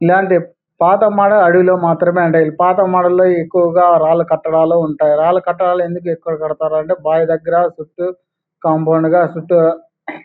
ఇల్లాంటి అడివిలో మాత్రమే ఉంటాయ్. అడివిలో ఎక్కువుగా రాళ్ళూ కట్టడాలే ఉంటాయ్. రాళ్ళూ కట్టడాలు ఎందుకు ఎక్కువుగా ఉంటాయి అంటే బే దగ్గర చుట్టూ కాంపౌండ్ గా చుట్టూ --